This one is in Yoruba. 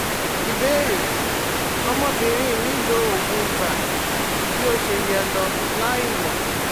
Ìbéèrè: Ọmọbìnrin mi lo oògùn ibà ju bí ó ṣe yẹ lọ láìmọ̀